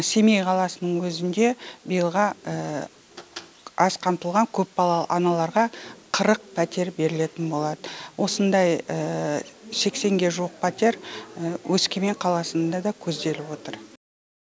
семей қаласының өзінде биылға аз қамтылған көпбалалы аналарға қырық пәтер берілетін болады осындай сексенге жуық пәтер өскемен қаласында да көзделіп отыр